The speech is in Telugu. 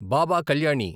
బాబా కల్యాణి